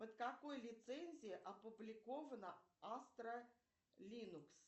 под какой лицензией опубликована астра линукс